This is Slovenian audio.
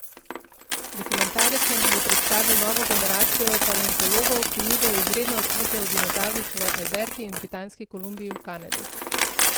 Dokumentarec nam bo predstavil novo generacijo paleontologov, ki nizajo izredna odkritja o dinozavrih v Alberti in Britanski Kolumbiji v Kanadi.